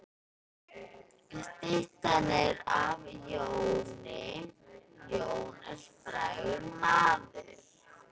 Styttan er af Jóni. Jón er frægur maður.